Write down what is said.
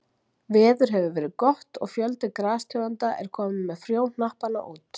Veður hefur verið gott og fjöldi grastegunda er kominn með frjóhnappana út.